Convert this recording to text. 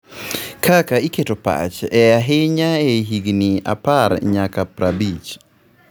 Kaka iketo pach ahinya e higni apar nyaka prabich.